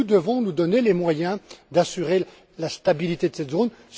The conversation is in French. Et nous devons nous donner les moyens d'assurer la stabilité de cette zone.